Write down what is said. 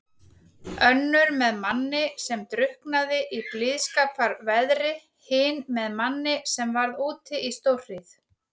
Önnur með manni sem drukknaði í blíðskaparveðri, hin með manni sem varð úti í stórhríð.